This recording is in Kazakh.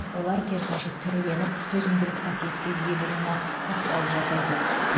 олар керісінше түрленіп төзімділік қасиетке ие болуына ықпал жасайсыз